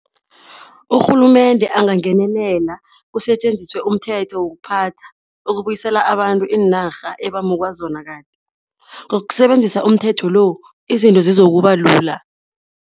Urhulumende angangenelela, kusetjenziswe umthetho wokuphatha ukubuyisela abantu iinarha ebamukwa zona kade. Ngokusebenzisa umthetho lo izinto zizokuba lula.